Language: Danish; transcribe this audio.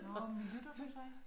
Nåh men lytter du så ikke?